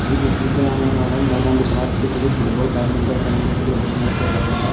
ये किसी का मैदान दिख रहा है जैसे फुटबॉल बैडमिंटन खेलने के लिए इस्तेमाल किया जाता है।